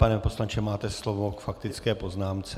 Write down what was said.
Pane poslanče, máte slovo k faktické poznámce.